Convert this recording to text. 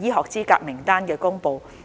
醫學資格名單的公布。